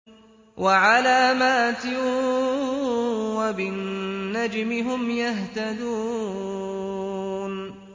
وَعَلَامَاتٍ ۚ وَبِالنَّجْمِ هُمْ يَهْتَدُونَ